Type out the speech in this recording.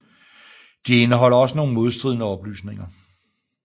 De indeholder også nogle modstridende oplysninger